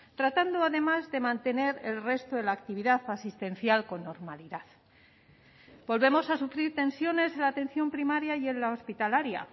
tratando además de mantener el resto de la actividad asistencial con normalidad volvemos a sufrir tensiones en la atención primaria y en la hospitalaria